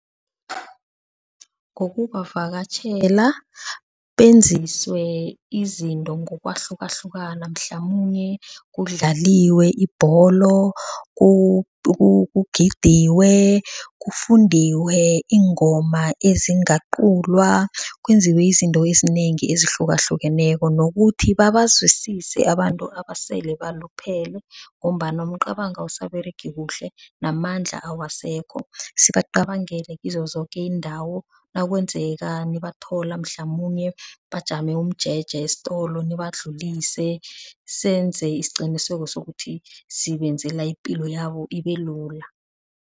Ngokubavakatjhela, benziswe izinto ngokwahlukahlukana mhlamunye kudlaliwe ibholo, kugidwe, kufundwe iingoma ezingaqulwa. Kwenziwe izinto ezinengi ezihlukahlukeneko, nokuthi babazwisise abantu abasele baluphele ngombana umcabango awusaberegi kuhle namandla awasekho. Sibacabangele kizozoke iindawo, nakwenzeka nibathola mhlamunye bajame umjeje esitolo nibadlulise, senze isiqiniseko sokuthi sibenzela ipilo yabo ibelula.